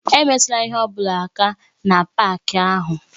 Emetụla ihe ọ bụla aka na páaki ahụ!